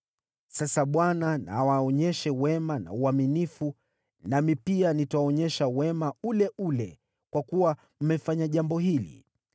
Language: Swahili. Sasa Bwana na awaonyeshe wema na uaminifu, nami pia nitawaonyesha wema ule ule kwa kuwa mmefanya jambo hili.